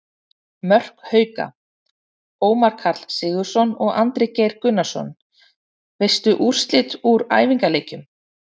Mörk Hauka: Ómar Karl Sigurðsson og Andri Geir Gunnarsson Veistu úrslit úr æfingaleikjum?